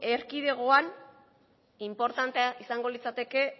erkidegoan inportantea izango litzateke